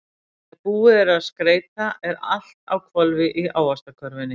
Þegar búið er að skreyta er allt á hvolfi í Ávaxtakörfunni.